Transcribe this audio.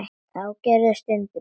Þá gerðist undrið.